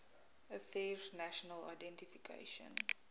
affairs national identification